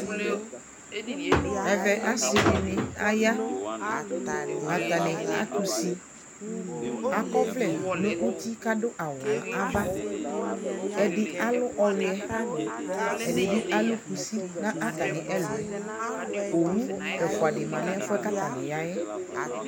ɛvɛ asii dini aya ,atani atʋ ʋsi, akɔ ɔvlɛ kʋ adʋ awʋ nʋ aɣa, ɛdi alʋ ɔwiɛ, ɛdibi alʋ kʋsi nʋatami ɛlʋɛ, ɔwʋ ɛƒʋa di manʋ ɛƒʋɛ kʋ atani yaɛ